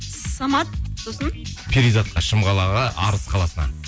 самат сосын перизатқа шым қалаға арыс қаласына